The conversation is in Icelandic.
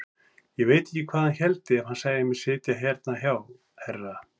Ég veit ekki hvað hann héldi ef hann sæi mig sitja hérna hjá herra!